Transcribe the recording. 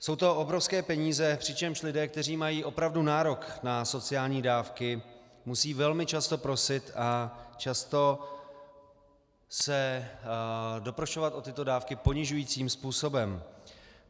Jsou to obrovské peníze, přičemž lidé, kteří mají opravdu nárok na sociální dávky, musí velmi často prosit a často se doprošovat o tyto dávky ponižujícím způsobem.